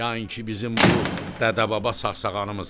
Yain ki bizim bu dədəbaba sağsağanımız.